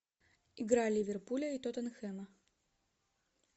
игра ливерпуля и тоттенхэма